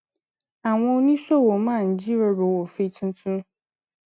àwọn oníṣòwò máa ń jíròrò òfin tuntun